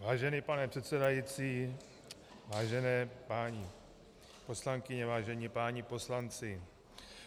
Vážený pane předsedající, vážené paní poslankyně, vážení páni poslanci,